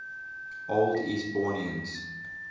old eastbournians